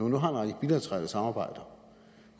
en række bilaterale samarbejder